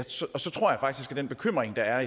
den bekymring der er